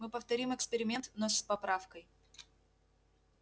мы повторим эксперимент но с поправкой